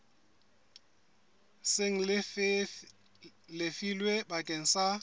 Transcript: seng le lefilwe bakeng sa